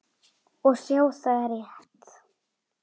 Og sjá, það er rétt.